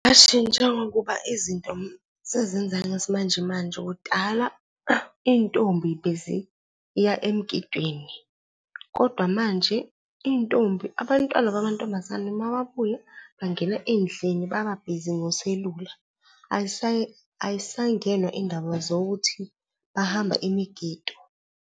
Ngingashintsha ngokuba izinto sezenzeka ngesimanjemanje, kudala iy'ntombi beziya emgidweni, kodwa manje iy'ntombi, abantwana bamantombazane uma babuya bangena ey'ndlini bababhizi ngoselula, ayisayingenwa iy'ndaba zokuthi bahamba imigido.